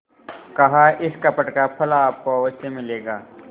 कहाइस कपट का फल आपको अवश्य मिलेगा